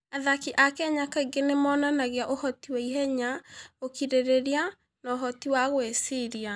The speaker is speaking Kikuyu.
Athaki a Kenya kaingĩ nĩ monanagia ũhoti wa ihenya, ũkirĩrĩria, na ũhoti wa gwĩciria.